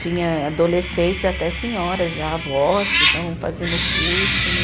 Tinha adolescentes e até senhoras, já avós que estavam fazendo o curso, né?